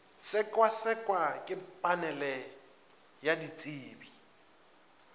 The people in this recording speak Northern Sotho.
sekasekwa ke panele ya ditsebi